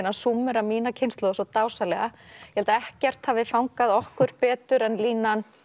að súmmera mína kynslóð svo dásamlega ég held að ekkert hafi fangað okkur betur en línan